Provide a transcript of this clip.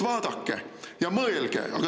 Vaadake ja mõelge!